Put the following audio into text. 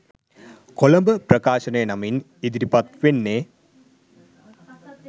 කොළඹ ප්‍රකාශනය නමින් ඉදිරිපත් වෙන්නේ.